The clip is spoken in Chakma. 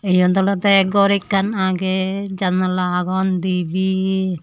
yod olode gor ekkan agey jannala agon dibey.